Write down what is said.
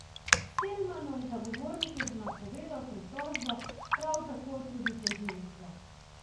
Selmanov zagovornik je že napovedal pritožbo, prav tako tudi tožilstvo.